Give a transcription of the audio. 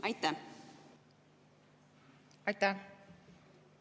Aitäh!